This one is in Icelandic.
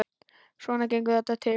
Svona gengur þetta til.